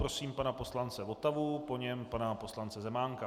Prosím pana poslance Votavu, po něm pana poslance Zemánka.